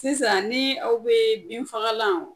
Sisan ni aw be bin faga lanw